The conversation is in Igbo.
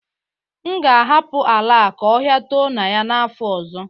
M ga-ahapụ ala a ka ọhịa too na ya n'afọ ọzọ